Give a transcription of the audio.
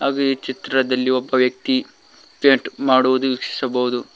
ಹಾಗೆ ಚಿತ್ರದಲ್ಲಿ ಒಬ್ಬ ವ್ಯಕ್ತಿ ಪೇಂಟ್ ಮಾಡುವುದು ವೀಕ್ಷಿಸಬಹುದು.